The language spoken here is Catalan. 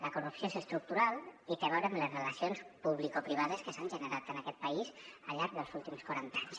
la corrupció és estructural i té a veure amb les relacions publicoprivades que s’han generat en aquest país al llarg dels últims quaranta anys